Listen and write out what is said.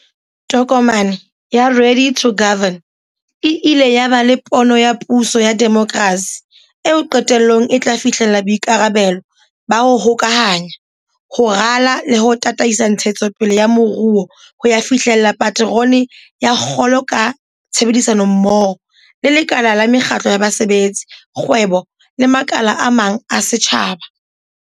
Kokwanahloko ya corona ha e a thefula maphelo a batho le mesebetsi ya bona feela, empa e boetse e hlokotse botsitso ba kahisano ya lefatshe lohle.